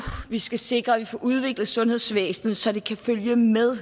vi skal sikre at vi får udviklet sundhedsvæsenet så det kan følge med